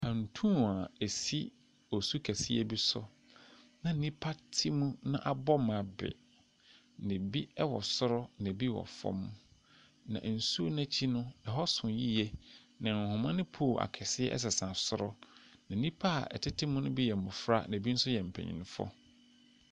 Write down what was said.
Pantuu a ɛsi osu kɛseɛ bi so, na nnipa te mu na abɔ ma be, na ebi wɔ soro na ebi wɔ fam, na nsu no akyi no, hɔ so yie, na nhoma ne pole akɛseɛ sesa soro, na nnipa a wɔtete mu no bi yɛ mmɔfra na ebinom nso yɛ mpanimfoɔ.